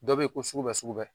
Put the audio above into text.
Dɔ be yen ko suku bɛɛ suku bɛɛ.